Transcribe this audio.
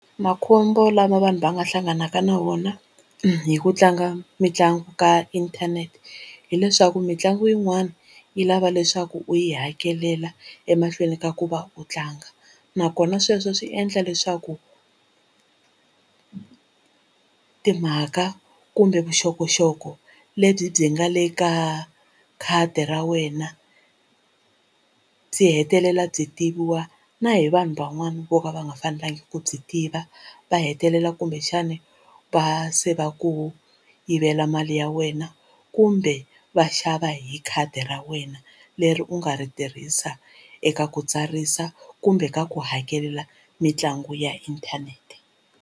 Makhombo lama vanhu va nga hlanganaka na wona hi ku tlanga mitlangu ka inthanete hileswaku mitlangu yin'wani yi lava leswaku u yi hakelela emahlweni ka ku va u tlanga nakona sweswo swi endla leswaku timhaka kumbe vuxokoxoko lebyi byi nga le ka khadi ra wena byi hetelela byi tiviwa na hi vanhu van'wana vo ka va nga fanelangi ku byi tiva va hetelela kumbexana va se va ku yivela mali ya wena kumbe va xava hi khadi ra wena leri u nga ri tirhisa eka ku tsarisa kumbe ka ku hakelela mitlangu ya inthanete.